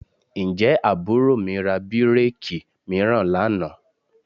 Ǹjẹ́ àbúrò mi ra bíréèkì mìíràn lánàá?